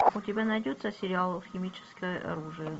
у тебя найдется сериал химическое оружие